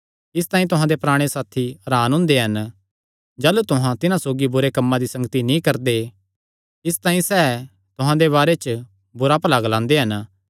इसतांई तुहां दे पराणे साथी हरान हुंदे हन जाह़लू तुहां तिन्हां सौगी बुरे कम्मां दी संगति नीं करदे इसतांई सैह़ तुहां दे बारे च बुरा भला ग्लांदे हन